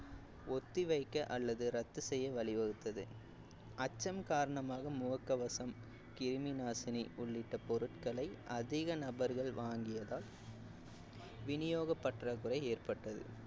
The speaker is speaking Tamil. ஒத்தி வைக்க அல்லது ரத்து செய்ய வழிவகுத்தது அச்சம் காரணமாக முகக்கவசம் கிருமி நாசினி உள்ளிட்ட பொருட்களை அதிக நபர்கள் வாங்கியதால் விநியோக பற்றாக்குறை ஏற்பட்டது